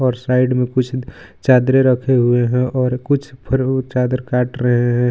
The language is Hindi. और साइड में कुछ चादरे रखे हुए हैं और कुछ चादर काट रहे है.